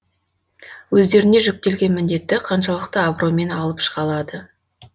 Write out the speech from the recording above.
өздеріне жүктелген міндетті қаншалықты абыроймен алып шыға алады